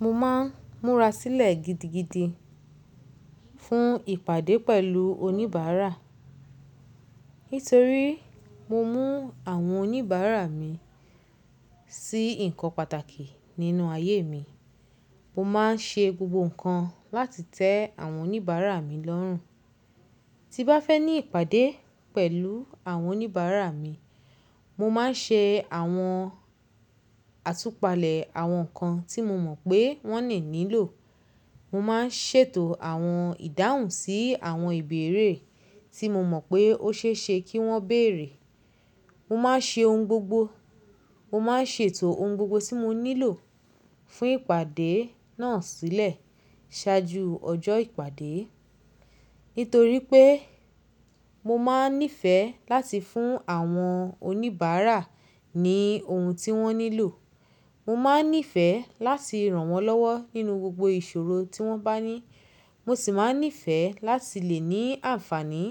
Mo máa ń múra sílẹ̀ gidigidi fún ìpàdé pẹ̀lú oníbàárà. Nítorí mo mú àwọn oníbàárà mi sí nǹkan pàtàkì nínú ayé mi. Mo máa ń ṣe gbogbo nǹkan láti tẹ àwọn oníbàárà mi lọ́rùn. Tí n bá fẹ́ ní ìpàdé pẹ̀lú àwọn oníbàárà mi, mo máa ń ṣe àwọn àtúpalẹ̀ àwọn nǹkan tí mo mọ̀ pé wọ́n le nílò. Mo máa ń ṣètò àwọn ìdáhùn sí àwọn ìbéèrè tí mo mọ̀ pé ó ṣe é ṣe kí wọ́n béèrè. Mo máa ń ṣe ohun gbogbo. Mo máa ń ṣètò ohun gbogbo tí mo nílò fún ìpàdé náà sílẹ̀ ṣáájú ọjọ́ ìpàdé. Nítorí pé mo máa ń nífẹ̀ẹ́ láti fún àwọn oníbàárà ní ohun tí wọ́n nílò. Mo máa ń nífẹ̀ẹ́ láti ràn wọ́n lọ́wọ́ nínú gbogbo ìṣòro tí wọ́n bá ní. Mo sì máa ń nífẹ̀ẹ́ láti lè ní àǹfààní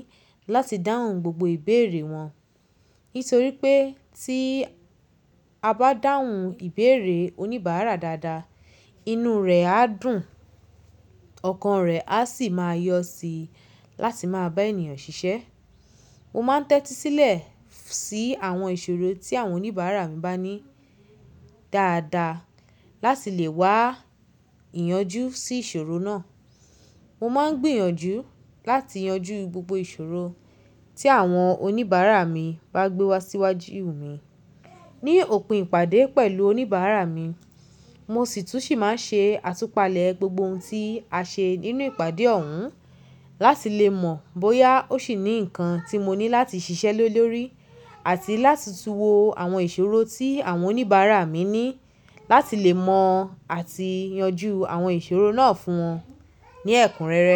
láti dáhùn gbogbo ìbéèrè wọn. Nítorí pé tí a bá dáhùn ìbéèrè oníbàárà dáadáa, inú rẹ̀ á dùn, ọkàn rẹ̀ a sì máa yọ́ sí i láti máa bá ènìyàn ṣiṣẹ́. Mo máa ń tẹ́tí sílẹ̀ sí àwọn ìṣòro tí àwọn oníbàárà mi bá ní dáadáa láti lè wá ìyanjú sí ìṣòro náà. Mo máa ń gbìyànjú láti yanjú gbogbo ìṣòro tí àwọn oníbàárà mi bá gbé wá síwájú mi. Ni òpin ìpàdé pẹ̀lú oníbàárà mi, mo sì tún ṣì máa ń ṣe àtúpalẹ̀ gbogbo ohun tí a ṣe nínú ìpàdé ọ̀hún láti lè mọ̀ bóyá ó ṣì ní nǹkan tí mo ní láti ṣiṣẹ́ le lórí àti láti túwo àwọn ìṣòro tí àwọn oníbàárà mi ní láti lè mọ̀ àti yanjú àwọn ìṣòro náà fún wọn ní ẹ̀kúnrẹ́rẹ́.